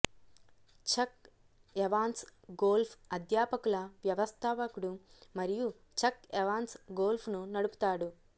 చక్ Evans golf అధ్యాపకుల వ్యవస్థాపకుడు మరియు చక్ ఎవాన్స్ గోల్ఫ్ను నడుపుతాడు